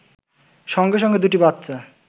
সঙ্গে সঙ্গে দুটি বাচ্চা